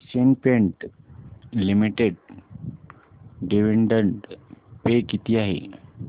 Asian Paints limited dividend pay किती आहे